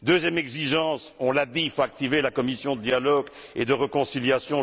Deuxième exigence, on l'a dit, il faut activer la commission de dialogue et de réconciliation.